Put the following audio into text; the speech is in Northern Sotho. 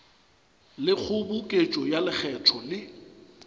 le kgoboketšo ya lekgetho le